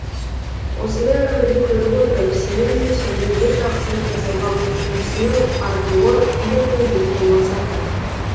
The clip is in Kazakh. осындай өмірді көріп отырып сенің де сондай бір жақсылық жасауға құлшынысыңның артуы фильмнің жеткен мақсаты